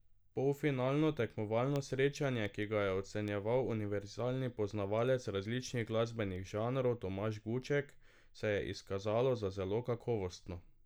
Polfinalno tekmovalno srečanje, ki ga je ocenjeval univerzalni poznavalec različnih glasbenih žanrov Tomaž Guček, se je izkazalo za zelo kakovostno.